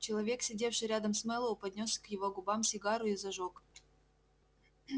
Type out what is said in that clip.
человек сидевший рядом с мэллоу поднёс к его губам сигару и зажёг